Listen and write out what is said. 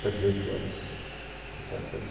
Para dezoito anos. Dezessete para